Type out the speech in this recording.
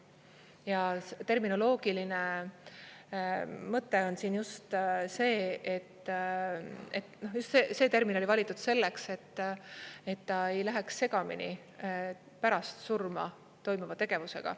Ja terminoloogiline mõte on siin just see, et just see termin oli valitud selleks, et ta ei läheks segamini pärast surma toimuva tegevusega.